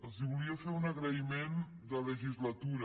els volia fer un agraïment de legislatura